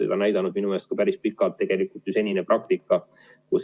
Minu meelest on senine praktika seda päris pikalt tegelikult ju näidanud.